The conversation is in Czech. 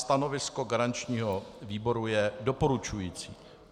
Stanovisko garančního výboru je doporučující.